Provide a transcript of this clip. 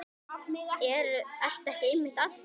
Ertu ekki einmitt að því?